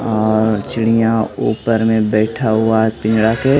अअ चिड़िया ऊपर में बैठा है पिंजरा के।